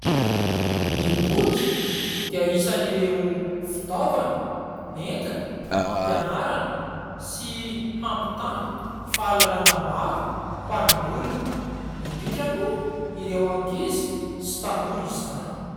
Ny boky dia isan'ireo fitaovana entina ampianarana sy hampitana fahalalana maro ho an'ny olona indrindra moa ireo ankizy sy tanora izany.